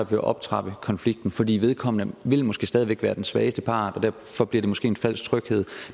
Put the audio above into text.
vil optrappe konflikten fordi vedkommende måske stadig væk vil være den svageste part og derfor bliver det måske en falsk tryghed